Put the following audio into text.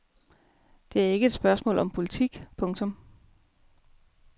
Det er ikke et spørgsmål om politik. punktum